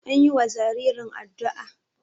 an yiwa jaririn addu'a